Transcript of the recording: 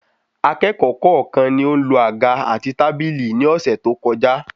Akékòó kọọkan ni o n lo àga àti tábìlì ni ọsẹ to kọjá